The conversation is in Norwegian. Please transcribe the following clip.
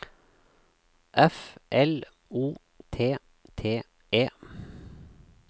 F L O T T E